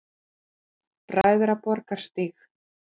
Bræðraborgarstíg